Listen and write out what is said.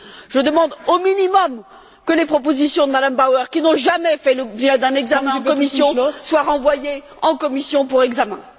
Je demande, au minimum, que les propositions de M me Bauer, qui n'ont jamais fait l'objet d'un examen en commission, soient renvoyées en commission pour examen.